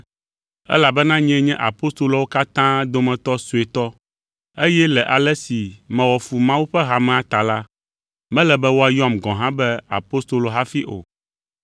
Elabena nyee nye apostoloawo katã dometɔ suetɔ eye le ale si mewɔ fu Mawu ƒe hamea ta la, mele be woayɔm gɔ̃ hã be apostolo hafi o.